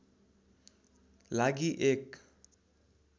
लागि एक